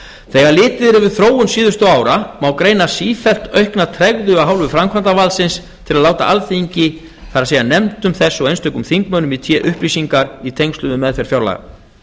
þegar litið er yfir þróun síðustu ára má greina sífellt aukna tregðu af hálfu framkvæmdarvaldsins til að láta alþingi það er nefndum þess og einstökum þingmönnum í té upplýsingar í tengslum við meðferð fjárlaga